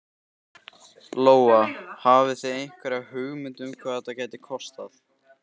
Lóa: Hafið þið einhverja hugmynd um hvað þetta gæti kostað?